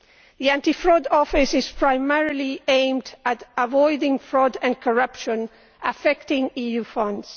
The Anti Fraud Office is primarily aimed at avoiding fraud and corruption affecting EU funds.